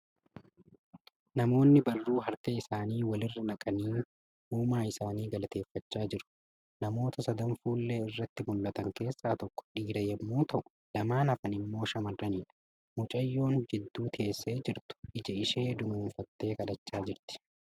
Namaoonni barruu harka isaanii wal irra naqanii uumaa isaanii galateeffachaa jiru. Namoita sadan fuullee irratti mul'atan keessaa tokko dhiira yemmuu ta'u lamaan hafan immoo shamarraniidha. Mucayyoon jidduu teessee jirtu ija ishee dunuunfattee kadhachaa jirti.